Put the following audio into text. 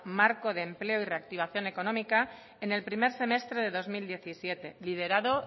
marco de empleo y reactivación económica en el primer semestre del dos mil diecisiete liderado